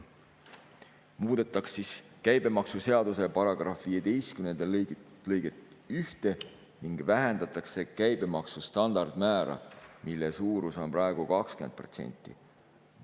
Muudetakse siis käibemaksuseaduse § 15 lõiget 1 ning vähendatakse käibemaksu standardmäära, mille suurus on praegu 20%.